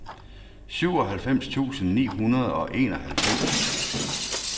syvoghalvfems tusind ni hundrede og enoghalvfems